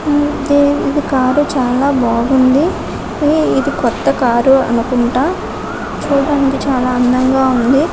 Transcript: కొత్త కారు చాలా బాగుంది కొత్త కారు అనుకుంటా ఇది చుడండి చాలా అందంగా ఉంది.